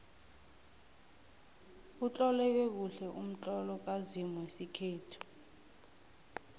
utloleke kuhle umtlolo kazimu wesikhethu